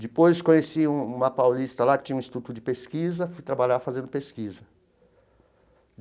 Depois conheci uma paulista lá que tinha um instituto de pesquisa, fui trabalhar fazendo pesquisa.